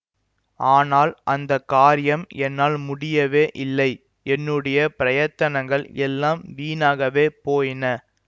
ஆனால் அந்த காரியம் என்னால் முடியவே இல்லை என்னுடைய பிரயத்தனங்கள் எல்லாம் வீணாகவே போயின